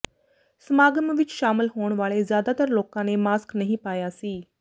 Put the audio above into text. ਸਮਾਗਮ ਵਿਚ ਸ਼ਾਮਲ ਹੋਣ ਵਾਲੇ ਜ਼ਿਆਦਾਤਰ ਲੋਕਾਂ ਨੇ ਮਾਸਕ ਨਹੀਂ ਪਾਇਆ ਸੀ